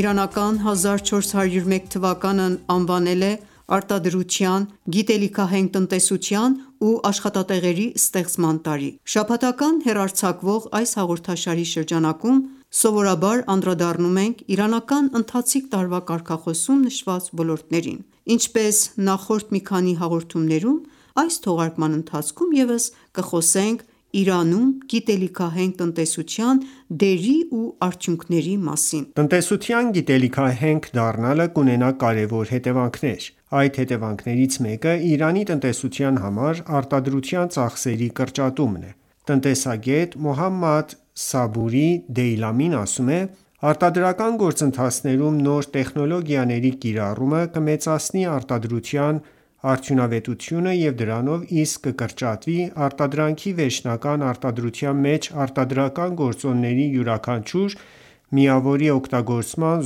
իրանական 1401 թվականն անվանել է «Արտադրության, գիտելիքահենք տնտեսության ու աշխատատեղերի ստեղծման տարի»: Շաբաթական հեռարձակվող այս հաղորդաշարի շրջանակում անդրադառնում ենք իրանական ընթացիկ տարվա կարգախոսում նշված ոլորտներին:Ինչպես նախորդ մի քանի հաղորդումներում, այս թողարկման ընթացքում ևս կխոսենք Իրանում գիտելիքահենք տնտեսության դերի ու արդյունքների մասին: Արտադրության ծախսերի կրճատում Տնտեսության գիտելիքահենք դառնալը կունենա կարևոր հետևանքներ: Այդ հետեւանքներից մեկը Իրանի տնտեսության համար արտադրության ծախսերի կրճատումն է։ Տնտեսագետ Մոհամմեդ Սաբուրի Դեյլամին ասում է.«Արտադրական գործընթացներում նոր տեխնոլոգիաների կիրառումը կմեծացնի արտադրության արդյունավետությունը և դրանով իսկ կկրճատվի արտադրանքի վերջնական արտադրության մեջ արտադրական գործոնների յուրաքանչյուր միավորի օգտագործման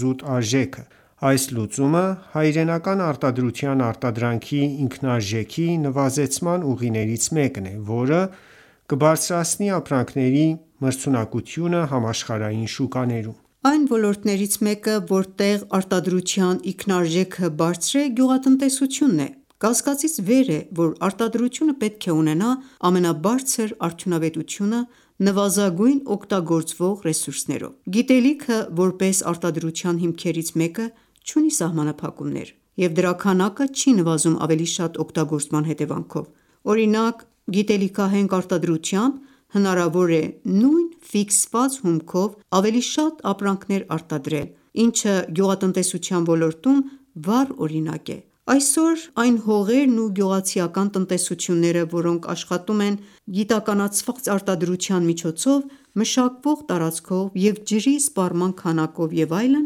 զուտ արժեքը: Այս լուծումը հայրենական արտադրության արտադրանքի ինքնարժեքի նվազեցման ուղիներից մեկն է, որը կբարձրացնի ապրանքների մրցունակությունը համաշխարհային շուկաներում»: Այն ոլորտներից մեկը, որտեղ արտադրության ինքնարժեքը բարձր է, գյուղատնտեսությունն է։ Կասկածից վեր է, որ արտադրությունը պետք է ունենա ամենաբարձր արդյունավետությունը՝ նվազագույն օգտագործվող ռեսուրսներով։ Գիտելիքը, որպես արտադրության հիմքերից մեկը, չունի սահմանափակումներ, և դրա քանակը չի նվազում ավելի շատ օգտագործման հետևանքով: Օրինակ՝ գիտելիքահենք արտադրությամբ հնարավոր է նույն ֆիքսված հումքով ավելի շատ ապրանքներ արտադրել, ինչը գյուղատնտեսության ոլորտում վառ օրինակ է։ Այսօր այն հողերն ու գյուղացիական տնտեսությունները, որոնք աշխատում են գիտականացված արտադրության միջոցով՝ մշակվող տարածքով և ջրի սպառման քանակով և այլն,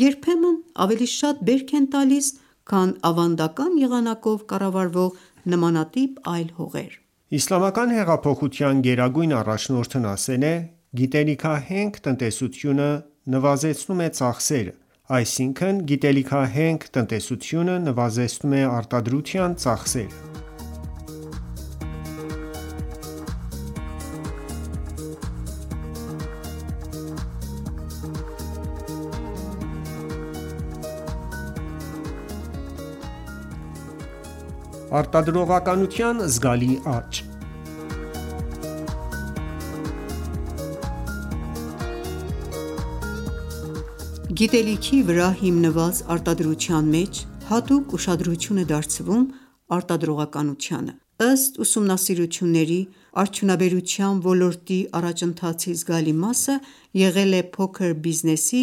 երբեմն ավելի շատ բերք են տալիս, քան ավանդական եղանակով կառավարվող նմանատիպ այլ հողեր։ Իսլամական հեղափոխության գերագույն առաջնորդն ասել է. «Գիտելիքահենք տնտեսությունը նվազեցնում է ծախսերը. Այսինքն՝ գիտելիքահենք տնտեսությունը նվազեցնում է արտադրության ծախսերը»։ Արտադրողականության զգալի աճ Գիտելիքի վրա հիմնված արտադրության մեջ հատուկ ուշադրություն է դարձվում արտադրողականությանը։ Ըստ ուսումնասիրությունների՝ արդյունաբերության ոլորտի առաջընթացի զգալի մասը եղել է փոքր բիզնեսի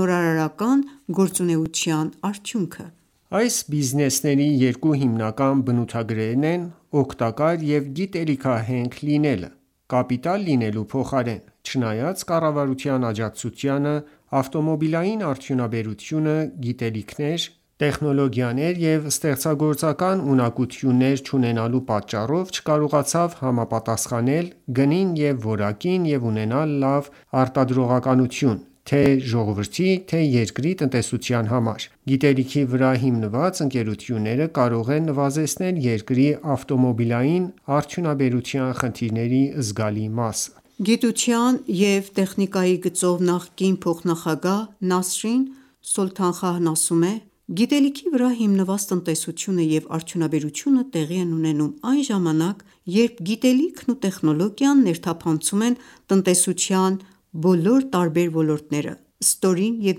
նորարարական գործունեության արդյունքը։ Այս բիզնեսների երկու հիմնական բնութագրերն են՝ օգտակար և գիտելիքահենք լինելը՝ կապիտալ լինելու փոխարեն։ Չնայած կառավարության աջակցությանը, ավտոմոբիլային արդյունաբերությունը գիտելիքներ, տեխնոլոգիաներ և ստեղծագործական ունակություններ չունենալու պատճառով չկարողացավ համապատասխանել գնին և որակին և ունենալ լավ արտադրողականություն թե՛ ժողովրդի, թե՛ երկրի տնտեսության համար։ Գիտելիքի վրա հիմնված ընկերությունները կարող են նվազեցնել երկրի ավտոմոբիլային արդյունաբերության խնդիրների զգալի մասը։ Գիտության և տեխնիկայի գծով նախկին փոխնախագահ Նասրին Սոլթանխահն ասում է.«Գիտելիքի վրա հիմնված տնտեսությունը և արդյունաբերությունը տեղի են ունենում այն ժամանակ, երբ գիտելիքն ու տեխնոլոգիան ներթափանցում են տնտեսության բոլոր տարբեր ոլորտները, ստորին և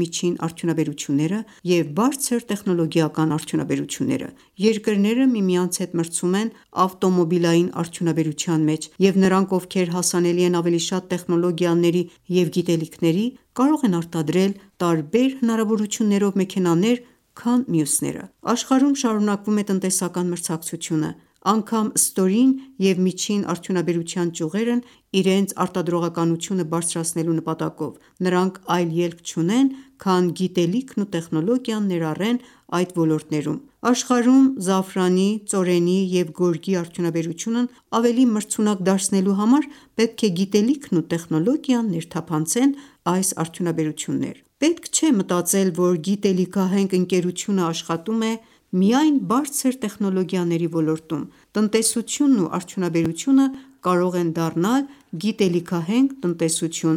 միջին արդյունաբերությունները և բարձր տեխնոլոգիական արդյունաբերությունները: Երկրները միմյանց հետ մրցում են ավտոմոբիլային արդյունաբերության մեջ, և նրանք, ովքեր հասանելի են ավելի շատ տեխնոլոգիաների և գիտելիքների, կարող են արտադրել տարբեր հնարավորություններով մեքենաներ, քան մյուսները: Աշխարհում շարունակվում է տնտեսական մրցակցությունը, անգամ ստորին և միջին արդյունաբերության ճյուղերն իրենց արտադրողականությունը բարձրացնելու նպատակով նրանք այլ ելք չունեն, քան գիտելիքն ու տեխնոլոգիան ներառեն այդ ոլորտներում: Աշխարհում Զաֆրանի, ծորենի և գորգի արդյունաբերությունն ավելի մրցունակ դարձնելու համար պետք է Գիտելիքն ու տեխնոլոգիան ներթափանցեն այս արդյունաբերություններում: Պետք չէ մտածել, որ գիտելիքահենք ընկերությունն աշխատում է միայն բարձր տեխնոլոգիաների ոլորտում։ Տնտեսությունն ու արդյունաբերությունը կարող են դառնալ գիտելիքահենք տնտեսություն։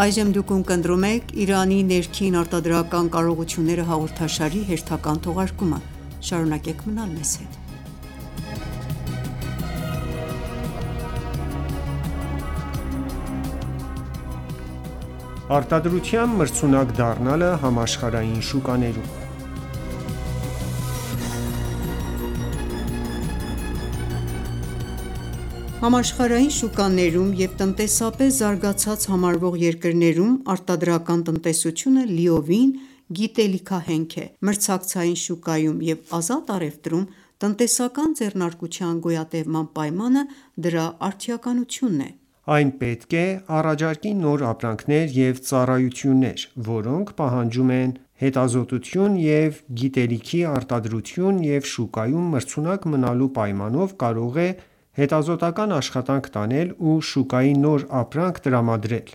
Արտադրության մրցունակ դառնալը համաշխարհային շուկաներում Համաշխարհային շուկաներում և տնտեսապես զարգացած համարվող երկրներում արտադրական տնտեսությունը լիովին գիտելիքահենք է: Մրցակցային շուկայում և ազատ առևտրում տնտեսական ձեռնարկության գոյատևման պայմանը դրա արդիականությունն է: Այն պետք է առաջարկի նոր ապրանքներ և ծառայություններ, որոնք պահանջում են հետազոտություն և գիտելիքի արտադրություն և շուկայում մրցունակ մնալու պայմանով, կարող է հետազոտական ​​աշխատանք տանել ու շուկային նոր ապրանք տրամադրել։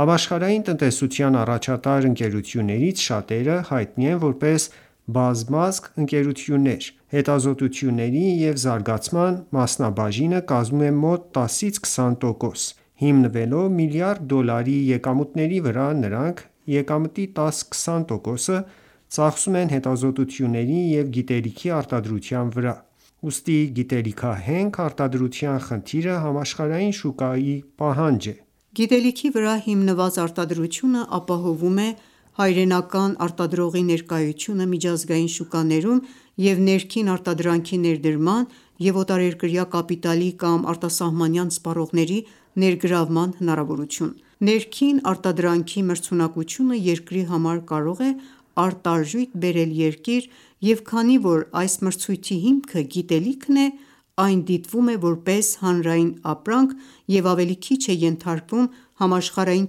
Համաշխարհային տնտեսության առաջատար ընկերություններից շատերը հայտնի են որպես բազմազգ ընկերություններ, հետազոտությունների և զարգացման մասնաբաժինը կազմում է մոտ տասից քսան տոկոս: Հիմնվելով միլիարդ դոլարի եկամուտների վրա՝ նրանք եկամտի տաս-քսան տոկոսը ծախսում են հետազոտությունների և գիտելիքի արտադրության վրա: Ուստի գիտելիքահենք արտադրության խնդիրը համաշխարհային շուկայի պահանջն է։ Գիտելիքի վրա հիմնված արտադրությունը ապահովվում է հայրենական արտադրողի ներկայությունը միջազգային շուկաներում և ներքին արտադրանքի ներդրման և օտարերկրյա կապիտալի կամ արտասահմանյան սպառողների ներգրավման հնարավորություն։ Ներքին արտադրանքի մրցունակությունը երկրի համար կարող է արտարժույթ բերել երկիր և քանի որ այս մրցույթի հիմքը գիտելիքն է, այն դիտվում է որպես հանրային ապրանք և ավելի քիչ է ենթարկվում համաշխարհային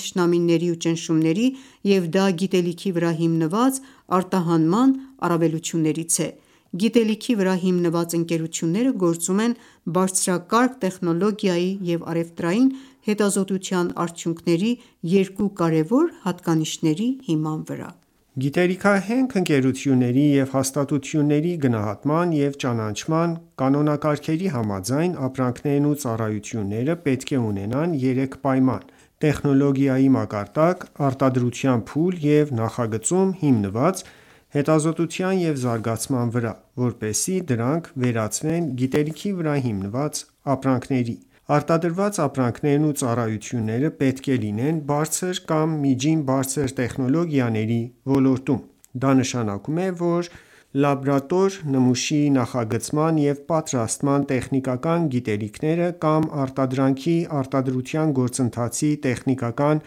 թշնամանքների ու ճնշումների, և դա գիտելիքի վրա հիմնված արտահանման առավելություններից է։ Գիտելիքի վրա հիմնված ընկերությունները գործում են բարձրակարգ տեխնոլոգիայի և առևտրային հետազոտության արդյունքների երկու կարևոր հատկանիշների հիման վրա: Գիտելիքահենք ընկերությունների և հաստատությունների գնահատման և ճանաչման կանոնակարգերի համաձայն՝ ապրանքներն ու ծառայությունները պետք է ունենան երեք պայման՝ տեխնոլոգիայի մակարդակ, արտադրության փուլ և նախագծում՝ հիմնված հետազոտության և զարգացման վրա, որպեսզի դրանք վերածվեն գիտելիքի վրա հիմնված ապրանքների։ Արտադրված ապրանքներն ու ծառայությունները պետք է լինեն բարձր կամ միջինից բարձր տեխնոլոգիաների ոլորտում։ Դա նշանակում է, որ լաբորատոր նմուշի նախագծման և պատրաստման տեխնիկական գիտելիքները կամ արտադրանքի արտադրության գործընթացի տեխնիկական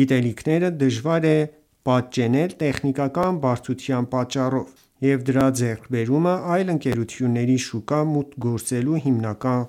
գիտելիքները դժվար է պատճենել տեխնիկական բարդության պատճառով, և դրա ձեռքբերումը այլ ընկերությունների շուկա մուտք գործելու հիմնական